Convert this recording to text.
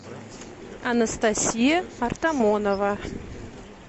анастасия артамонова